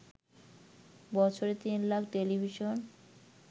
বছরে ৩ লাখ টেলিভিশন